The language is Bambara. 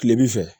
Kilebin fɛ